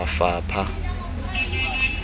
mafapha